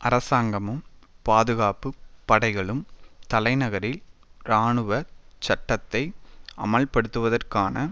அரசாங்கமும் பாதுகாப்பு படைகளும் தலைநகரில் இராணுவ சட்டத்தை அமுல்படுத்துவதற்கான